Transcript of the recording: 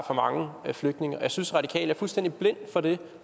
for mange flygtninge og jeg synes de radikale er fuldstændig blinde for det